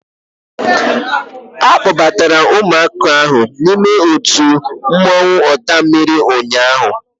A kpọbatara ụmụaka ndị ahụ n'ime otu mmọnwụ ọtammiri ụnyaahụ